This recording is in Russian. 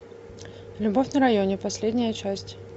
любовь на районе последняя часть